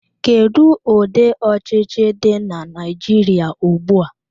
Kedu ụdị ọchịchị dị na Naijiria ugbua?